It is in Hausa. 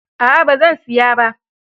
A'a, ba zan siya ba.